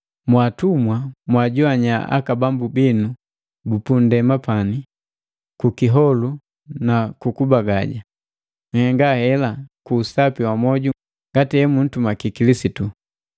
Mwa atumwa, mwajoannya aka bambu binu bupu ndema pani ku kiholu nu kubagaja, nhenga hela ku usapi wa mwoju ngati emuntumaki Kilisitu.